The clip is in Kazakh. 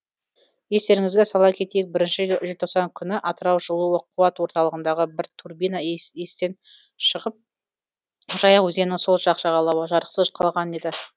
естеріңізге сала кетейік бірінші желтоқсан күні атырау жылу қуат орталығындағы бір турбина естен шығып жайық өзенінің сол жақ жағалауы жарықсыз қалған еді